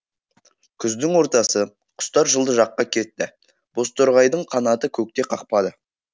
күздің ортасы құстар жылы жаққа кетті бозторғайдың қанаты көкте қақпады